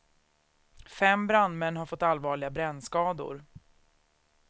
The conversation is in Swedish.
Fem brandmän har fått allvarliga brännskador.